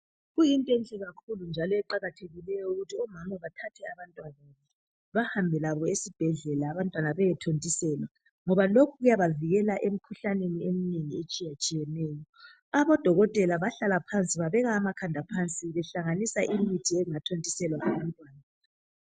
Kuyint' enhle kakhulu njalo eqakathekileyo ukuthi omama bathathe abantwababo, behambe labo esibhedlela abantwana beyethontiselwa, ngoba lokhu kuyabavikela emikhuhlaneni eminengi etshiyetshiyeneyo. Odokotela bahlala phansi babeka amakhanda phansi behlanganisa imithi engathontiselwa abantwana.